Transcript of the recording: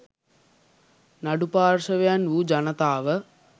නඩු පාර්ශ්වයන් වූ ජනතාව